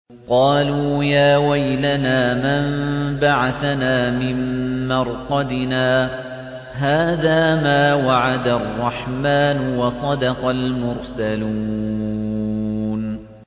قَالُوا يَا وَيْلَنَا مَن بَعَثَنَا مِن مَّرْقَدِنَا ۜۗ هَٰذَا مَا وَعَدَ الرَّحْمَٰنُ وَصَدَقَ الْمُرْسَلُونَ